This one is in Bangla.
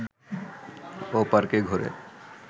ও পার্কে ঘুরে